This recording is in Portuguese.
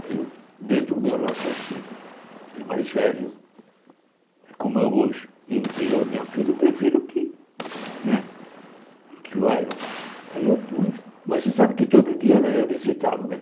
Aí eu, dentro do meu raciocínio, ele é mais velho, como eu hoje, entre eu e minha filha, eu prefiro que né... Aí eu pus, mas você sabe que todo dia ela ia visitá-lo, né?